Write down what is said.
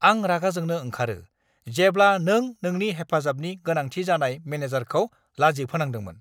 आं रागा जोंनो ओंखारो जेब्ला नों नोंनि हेफाजाबनि गोनांथि जानाय मेनेजारखौ लाजि फोनांदोंमोन!